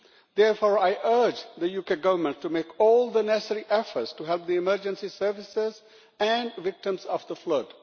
Therefore, I urge the UK Government to make all the necessary efforts to help the emergency services and victims of the flood.